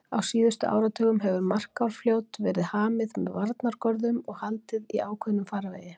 Á síðustu áratugum hefur Markarfljót verið hamið með varnargörðum og haldið í ákveðnum farvegi.